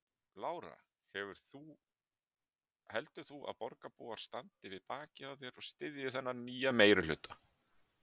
Lára: Heldur þú að borgarbúar standi við bakið á þér og styðji þennan nýja meirihluta?